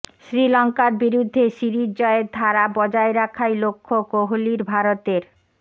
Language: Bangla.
শ্রীলঙ্কার বিরুদ্ধে সিরিজ জয়ের ধারা বজায় রাখাই লক্ষ্য কোহলির ভারতের